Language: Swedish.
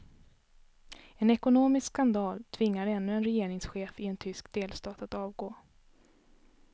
En ekonomisk skandal tvingar ännu en regeringschef i en tysk delstat att avgå.